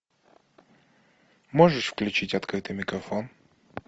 можешь включить открытый микрофон